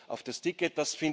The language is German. auf das Ticket.